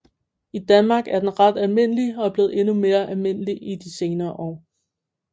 I Danmark er den ret almindelig og er blevet endnu mere almindelig i de senere år